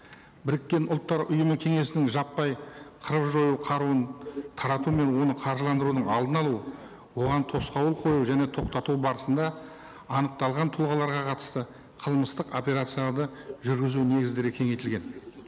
біріккен ұлттар ұйымы кеңесінің жаппай қырып жою қаруын тарату мен оны қаржыландырудың алдын алу оған тосқауыл қою және тоқтату барысында анықталған тұлғаларға қатысты қылмыстық операцияларды жүргізу негіздері кеңейтілген